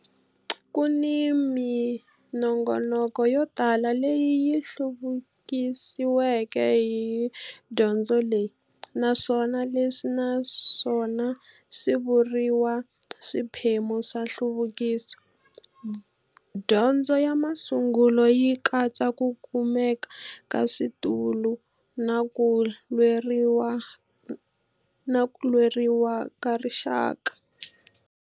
Ku ni minongonoko yo tala leyi yi hluvukisiweke hi dyondzo leyi, naswona leswi na swona swi vuriwa swiphemu swa nhluvukiso. Dyondzo ya masungulo yi katsa ku kumeka ka switulu na ku lweriwaka ka rixaka.